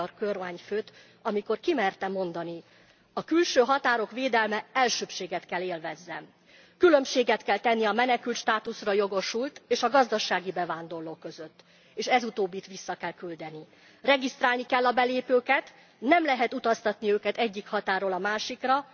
a magyar kormányfőt, amikor ki merte mondani a külső határok védelme elsőbbséget kell élvezzen, különbséget kell tenni a menekültstátuszra jogosult és a gazdasági bevándorló között és ez utóbbit vissza kell küldeni. Regisztrálni kell a belépőket, nem lehet utaztatni őket egyik határról a másikra.